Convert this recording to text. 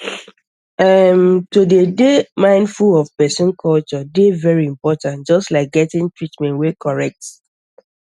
ah erm to dey to dey mindful of person culture dey very important just like getting treatment wey correct